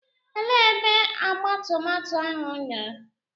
Elee ebe agba tomato ahụ nọ?